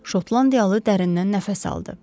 Şotlandiyalı dərindən nəfəs aldı.